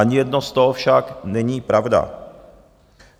Ani jedno z toho však není pravda.